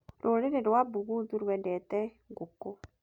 Rũrĩrĩ rwa Buguthu rwendete ngũkũ.